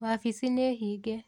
Wabici nĩ hinge.